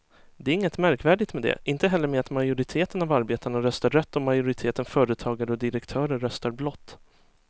Det är inget märkvärdigt med det, inte heller med att majoriteten av arbetarna röstar rött och att majoriteten företagare och direktörer röstar blått.